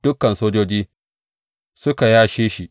Dukan sojoji suka yashe shi.